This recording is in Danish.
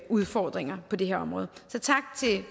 udfordringer på det her område så tak til